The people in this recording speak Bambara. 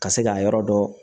Ka se k'a yɔrɔ dɔ